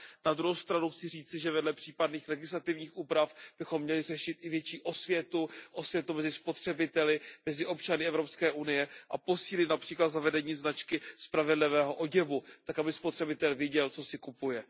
Na druhou stranu chci říci, že vedle případných legislativních úprav bychom měli řešit i větší osvětu mezi spotřebiteli, mezi občany Evropské unie a posílit například zavedení značky spravedlivého oděvu tak, aby spotřebitel věděl, co si kupuje.